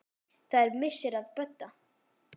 Það er missir að Bödda.